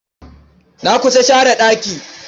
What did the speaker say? Na kusa share ɗaki.